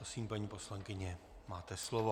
Prosím, paní poslankyně, máte slovo.